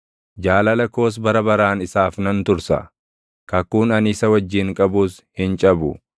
Jaalala koos bara baraan isaaf nan tursa; kakuun ani isa wajjin qabus hin cabu.